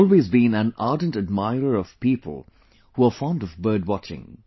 I have always been an ardent admirer of people who are fond of bird watching